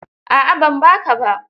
A'a ban ba ka ba.